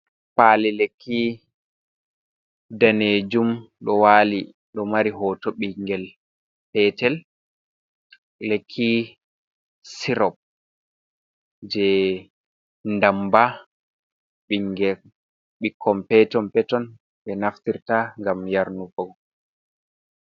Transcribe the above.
Pali lekki danejum ɗo wali ɗo mari hoto ɓingel petel, lekki sirop je damba ɓingel ɓikkon peton peton be naftirta gam yarnugoɓe.